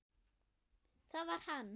Það var hann.